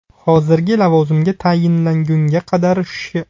Hozirgi lavozimga tayinlangunga qadar Sh.